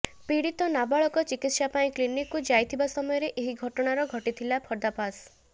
ପୀଡ଼ିତ ନାବାଳକ ଚିକିତ୍ସା ପାଇଁ କ୍ଲିନିକକୁ ଯାଇଥିବା ସମୟରେ ଏହି ଘଟଣାର ଘଟିଥିଲା ପର୍ଦ୍ଦାଫାଶ